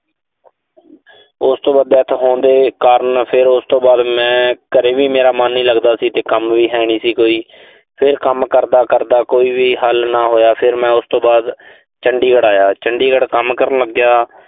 ਉਸ ਤੋਂ ਬਾਅਦ death ਹੋਣ ਦੇ ਕਾਰਨ, ਫਿਰ ਉਸ ਤੋਂ ਬਾਅਦ ਮੈਂ, ਘਰੇ ਵੀ ਮੇਰਾ ਮਨ ਨੀਂ ਲਗਦਾ ਸੀ ਤੇ ਕੰਮ ਵੀ ਹੈਨੀਂ ਸੀ ਕੋਈ। ਫਿਰ ਕੰਮ ਕਰਦਾ ਕਰਦਾ ਕੋਈ ਵੀ ਹੱਲ ਨਾ ਹੋਇਆ, ਫਿਰ ਮੈਂ ਉਸ ਤੋਂ ਬਾਅਦ ਚੰਡੀਗੜ੍ਹ ਆਇਆ। ਚੰਡੀਗੜ ਕੰਮ ਕਰਨ ਲੱਗਿਆ।